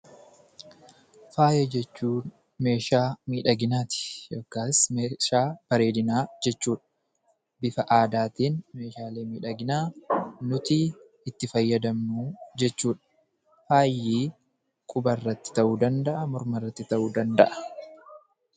Faaya jechuun meeshaa miidhaginaati yookaas meeshaa bareedinaa jechuudha. Bifa aadaatiin meeshaalee miidhaginaa nuti itti fayyadamnu jechuudha. Faayi qubarratti ta'uu danda'a, mormarratti ta'uu danda'a.